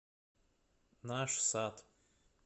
наш сад